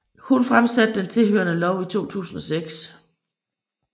Hun fremsatte den tilhørende lov i 2006